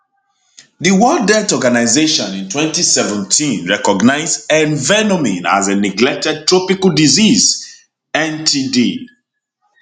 di world health organisation in 2017 recognise envenoming as a neglected tropical disease ntd